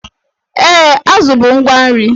Ee, azụ bụ ngwa nri.